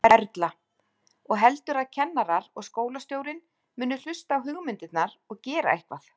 Erla: Og heldurðu að kennarar og skólastjórinn muni hlusta á hugmyndirnar og gera eitthvað?